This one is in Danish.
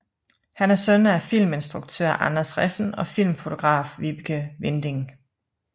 Han er søn af filminstruktør Anders Refn og filmfotograf Vibeke Winding